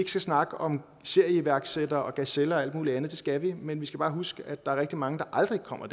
skal snakke om serieiværksættere gazeller og alt muligt andet det skal vi men vi skal bare huske at der er rigtig mange der aldrig kommer